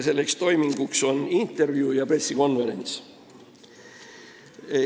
Selleks toiminguks on intervjuu ja pressikonverents.